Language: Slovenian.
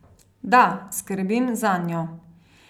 Da skrbim zanjo.